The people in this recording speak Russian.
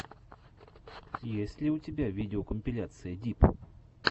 есть ли у тебя видеокомпиляция дип